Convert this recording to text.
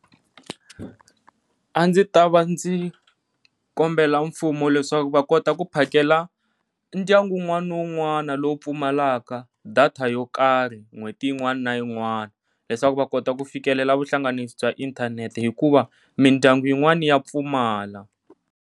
A ndzi ta va ndzi kombela mfumo leswaku va kota ku phakela ndyangu wun'wana ni wun'wana lowu pfumalaka data yo karhi n'hweti yin'wana na yin'wana leswaku va kota ku fikelela vuhlanganisi bya inthanete, hikuva mindyangu yin'wana ya pfumala.